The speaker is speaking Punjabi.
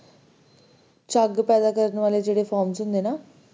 ਝੱਗ ਪੈਦਾ ਕਰਨ ਵਾਲੇ ਜਿਹੜੇ ਹੁੰਦੇ ਨਾ